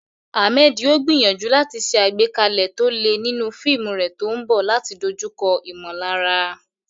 Ahmed yóò gbìyànjú láti ṣe àgbékalẹ̀ tó le nínú fíìmù rẹ̀ tó ń bọ̀ láti dojúkọ ìmọ̀lára.